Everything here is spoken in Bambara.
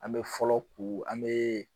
An me fɔlɔ ko an mee